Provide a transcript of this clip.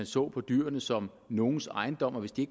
så på dyrene som nogens ejendom og hvis de